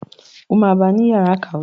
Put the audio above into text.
O má wá bá ni yàrá ìkàwé.